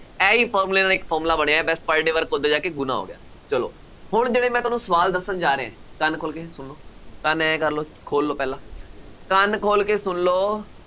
ਇਹੀ formula ਨਾਲ ਇੱਕ formula ਬਣਿਆ। ਬੱਸ per day work ਉੱਧਰ ਜਾ ਕੇ ਗੁਣਾ ਹੋ ਗਿਆ। ਚੱਲੋ, ਹੁਣ ਜਿਹੜੇ ਮੈਂ ਤੁਹਾਨੂੰ ਸਵਾਲ ਦੱਸਣ ਜਾ ਰਿਹਾਂ, ਕੰਨ ਖੋਲ੍ਹ ਕੇ ਸੁਣੋ, ਕੰਨ ਆਏਂ ਕਰ ਲਉ, ਖੋਲ੍ਹ ਲਉ ਪਹਿਲਾਂ, ਕੰਨ ਖੋ਼ਲ ਕੇ ਸੁਣ ਲਉ।